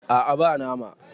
a a ba nama